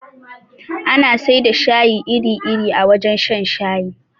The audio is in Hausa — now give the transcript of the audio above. Ana sai da shayi iri iri a wajen shan shayi